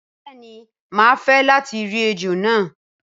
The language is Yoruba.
Bẹẹni má fẹ lati ri ejò náà.